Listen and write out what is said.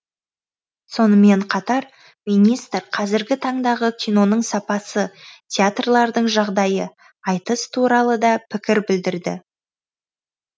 сонымен қатар министр қазіргі таңдағы киноның сапасы театрлардың жағдайы айтыс туралы да пікір білдірді